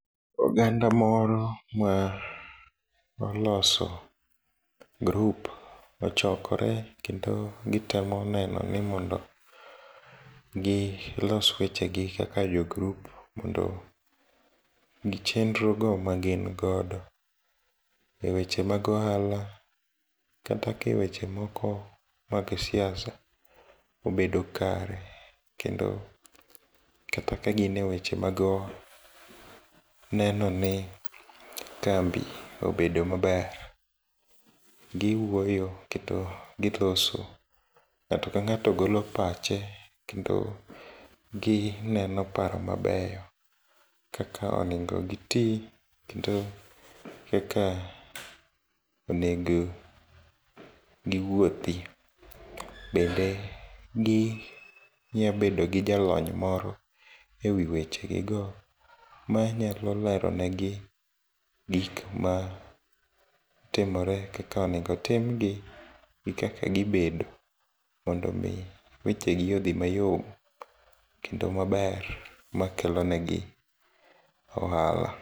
Oganda moro maoloso group ochokore kendo gitemo nenoni mondo gilos wechegi kaka jo group mondo gi chenro go magin godo e weche mag ohala kata ka e weche moko mag siasa obedo kare, kendo kata kagin e weche mag nenoni kambi obedo maber. Giwuoyo kendo giloso, ng'ato kang'ato golo pache, kendo gineno paro mabeyo kaka onego giti kendo kaka onego giwuothi, bende ginyabedo gi jalony moro e wi weche gigo manyalo lero negi gikma timore kaka onego timgi gi kaka gibedo mondomi wechegi odhi mayom, kendo maber makelo negi ohala.